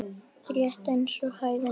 Rétt eins og hæðni.